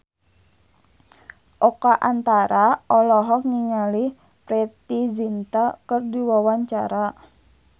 Oka Antara olohok ningali Preity Zinta keur diwawancara